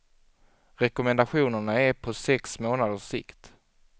Rekommendationerna är på sex månaders sikt.